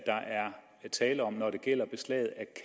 tale om når det gælder beslag af